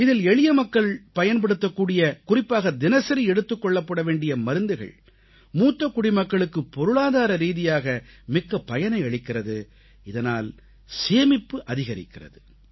இதில் எளிய மக்கள் பயன்படுத்தக்கூடிய குறிப்பாக தினசரி எடுத்துக்கொள்ள வேண்டிய மருந்துகள் மூத்த குடிமக்களுக்கு பொருளாதார ரீதியாக மிக்க பயனை அளிக்கிறது இதனால் சேமிப்பு அதிகரிக்கிறது